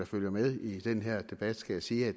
følger med i den her debat skal jeg sige at